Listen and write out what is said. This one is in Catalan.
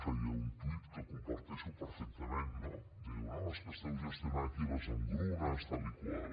feia un tuit que comparteixo perfectament no diu no és que esteu gestionant aquí les engrunes tal i tal